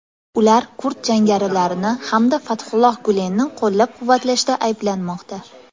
Ular kurd jangarilarini hamda Fathulloh Gulenni qo‘llab-quvvatlashda ayblanmoqda.